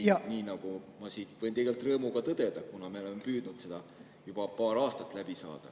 Ma võin seda tegelikult rõõmuga tõdeda, kuna me oleme püüdnud seda juba paar aastat läbi suruda.